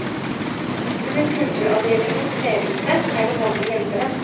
Under kulturavdelingens ledelse er det mange hjelpere.